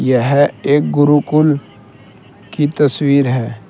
यह एक गुरुकुल की तस्वीर है।